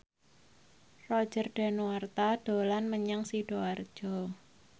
Roger Danuarta dolan menyang Sidoarjo